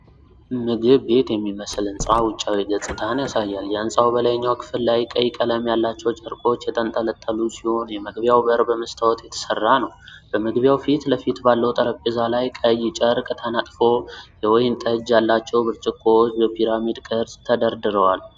ምግብ ቤት የሚመስል ሕንጻ ውጪያዊ ገጽታን ያሳያል። የህንጻው በላይኛው ክፍል ላይ ቀይ ቀለም ያላቸው ጨርቆች የተንጠለጠሉ ሲሆን፤ የመግቢያው በር በመስታወት የተሠራ ነው። በመግቢያው ፊት ለፊት ባለው ጠረጴዛ ላይ ቀይ ጨርቅ ተነጥፎ የወይን ጠጅ ያላቸው ብርጭቆዎች በፒራሚድ ቅርጽ ተደርድረዋል።